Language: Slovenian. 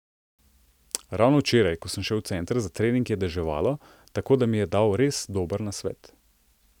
Ravno včeraj, ko sem šel v center za trening, je deževalo, tako da mi je dal res dober nasvet.